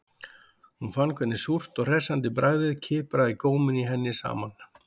Hún fann hvernig súrt og hressandi bragðið kipraði góminn í henni saman